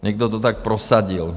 Někdo to tak prosadil.